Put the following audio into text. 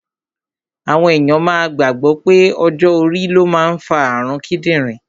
Àwọn èyàn máa gbàgbọ̀ pé ọjọ́ orí ló máa ń fa àrun kídìrín